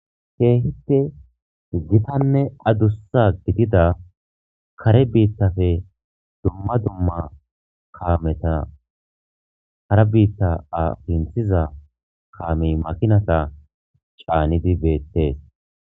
Keehippe gitanne adussa gidida kare biittafe dumma dumma kaameta hara biitta a pintiza kaamey makinata caanidi beettees